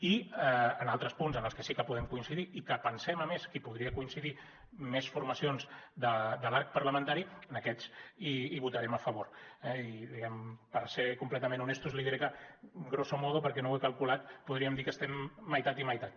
i en altres punts en els que sí que podem coincidir i que pensem a més qui hi podrien coincidir més formacions de l’arc parlamentari en aquests hi votarem a favor eh i diguem ne per ser completament honestos li diré que grosso modo perquè no ho he calculat podríem dir que estem meitat i meitat